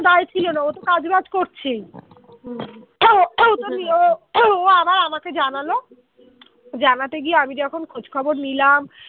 কোন দায় ছিল না, ও তো কাজবাজ করছেই হম ও আবার আমাকে জানালো জানাতে গিয়ে আমি যখন খোঁজ খবর নিলাম